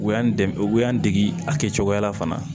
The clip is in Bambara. U y'an dege u y'an dege a kɛ cogoya la fana